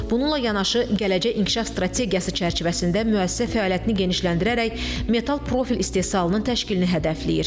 Bununla yanaşı, gələcək inkişaf strategiyası çərçivəsində müəssisə fəaliyyətini genişləndirərək metal profil istehsalının təşkilini hədəfləyir.